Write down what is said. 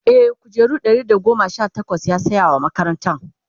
e kujeru Ɗari da goma Sha takwas yasaya wa makaranta